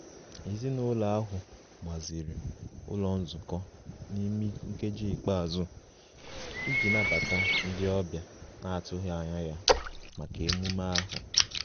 Ezinụlọ ahụ gbaziri ụlọ nzukọ n'ime nkeji ikpeazụ iji nabata ndị ọbịa na-atụghị anya ya maka emume ahụ